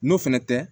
N'o fɛnɛ tɛ